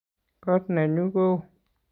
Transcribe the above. kot nenyu ko oo